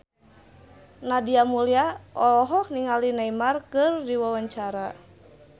Nadia Mulya olohok ningali Neymar keur diwawancara